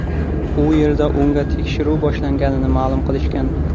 U yerda unga tekshiruv boshlanganini ma’lum qilishgan.